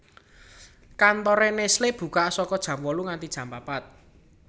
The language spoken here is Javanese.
Kantore Nestle buka saka jam wolu nganti jam papat